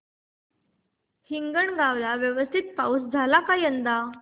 हिंगणगाव ला व्यवस्थित पाऊस झाला का यंदा